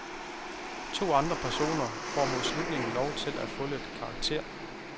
To andre personer får mod slutningen lov til at få lidt karakter.